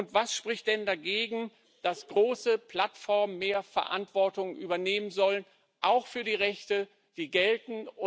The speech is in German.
Und was spricht denn dagegen, dass große Plattformen mehr Verantwortung übernehmen sollen, auch für die Rechte, die gelten?